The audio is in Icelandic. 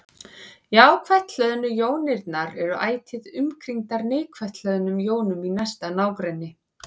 Jákvætt hlöðnu jónirnar eru ætíð umkringdar neikvætt hlöðnum jónum í næsta nágrenni.